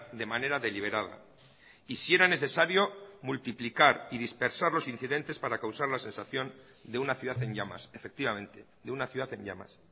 de manera deliberada y si era necesario multiplicar y dispersar los incidentes para causar la sensación de una ciudad en llamas efectivamente de una ciudad en llamas